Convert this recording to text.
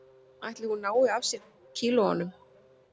Ætli hún nái af sér kílóunum